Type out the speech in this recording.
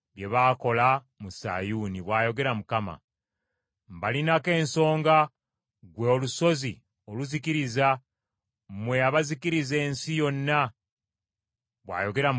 “Ndisasula Babulooni ne bonna ababeeramu nga mulaba olw’ebibi byonna bye baakola mu Sayuuni,” bw’ayogera Mukama .